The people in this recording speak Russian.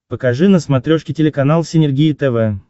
покажи на смотрешке телеканал синергия тв